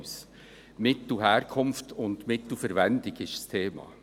Die Mittelherkunft und Mittelverwendung ist das Thema.